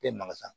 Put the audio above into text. E magasan